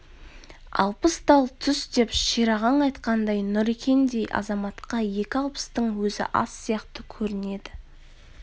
алпыс тал түс деп шерағаң айтқандай нұрекендей азаматқа екі алпыстың өзі аз сияқты көрінеді